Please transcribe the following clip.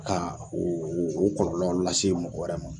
o o kɔlɔlɔ lase mɔgɔ wɛrɛ ma.